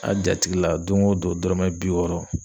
A' jatigila doŋo don dɔrɔmɛ bi wɔɔrɔ